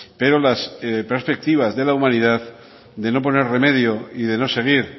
pero las perspectivas de la humanidad de no poner remedio y de no seguir